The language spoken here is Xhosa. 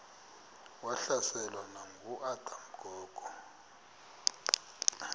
wahlaselwa nanguadam kok